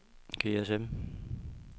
GSM